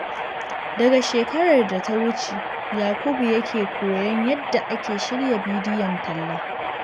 Daga shekarar da ta wuce, Yakubu ya ke koyon yadda ake shirya bidiyon talla.